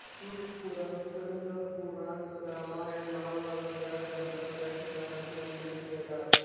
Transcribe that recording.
शिवपुराण स्कंदपुराण रामायण महाभारत या ग्रंथांत या ठिकाणाचे उल्लेख मिळतात